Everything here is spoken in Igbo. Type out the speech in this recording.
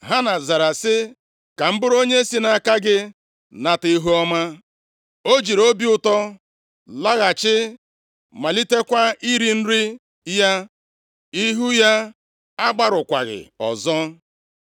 Hana zara sị, “Ka m bụrụ onye si nʼaka gị nata ihuọma.” O jiri obi ụtọ laghachi, malitekwa iri nri ya. Ihu ya agbarụkwaghị ọzọ.